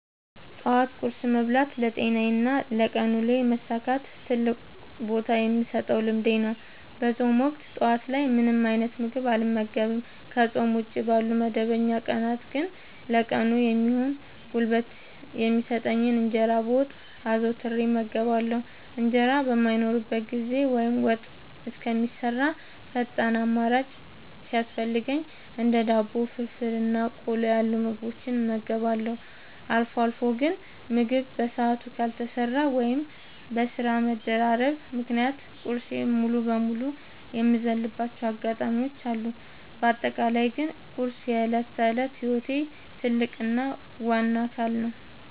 ጠዋት ቁርስ መብላት ለጤናዬና ለቀን ውሎዬ መሳካት ትልቅ ቦታ የምሰጠው ልምዴ ነው። በፆም ወቅት ጠዋት ላይ ምንም አይነት ምግብ አልመገብም። ከፆም ውጪ ባሉ መደበኛ ቀናት ግን ለቀኑ የሚሆን ጉልበት የሚሰጠኝን እንጀራ በወጥ አዘውትሬ እመገባለሁ። እንጀራ በማይኖርበት ጊዜ ወይም ወጥ እስከሚሰራ ፈጣን አማራጭ ሲያስፈልገኝ እንደ ዳቦ፣ ፍርፍር እና ቆሎ ያሉ ምግቦችን እመገባለሁ። አልፎ አልፎ ግን ምግብ በሰዓቱ ካልተሰራ ወይም በስራ መደራረብ ምክንያት ቁርሴን ሙሉ በሙሉ የምዘልባቸው አጋጣሚዎች አሉ። በአጠቃላይ ግን ቁርስ የዕለት ተዕለት ህይወቴ ትልቅ እና ዋነኛ አካል ነው።